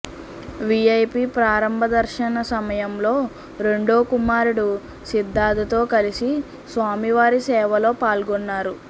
VIP ప్రారంభ దర్శన సమయంలో రెండో కుమారుడు సిద్ధార్థతో కలిసి స్వామివారి సేవలో పాల్గొన్నారు